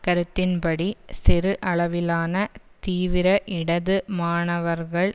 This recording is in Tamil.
கருத்தின்படி சிறு அளவிலான தீவிர இடது மாணவர்கள்